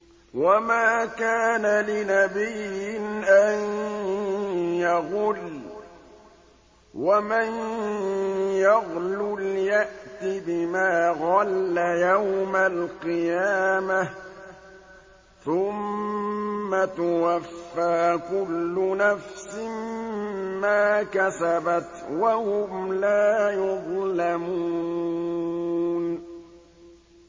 وَمَا كَانَ لِنَبِيٍّ أَن يَغُلَّ ۚ وَمَن يَغْلُلْ يَأْتِ بِمَا غَلَّ يَوْمَ الْقِيَامَةِ ۚ ثُمَّ تُوَفَّىٰ كُلُّ نَفْسٍ مَّا كَسَبَتْ وَهُمْ لَا يُظْلَمُونَ